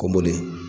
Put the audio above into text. Kɔmɔdi